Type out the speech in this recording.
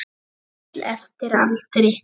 Lítill eftir aldri.